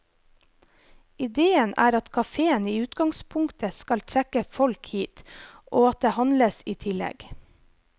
Idéen er at kaféen i utgangspunktet skal trekke folk hit, og at det handles i tillegg.